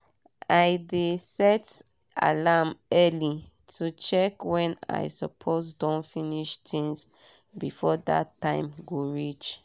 i dey set alarm early to check wen i suppose don finish tinz before dat time go reach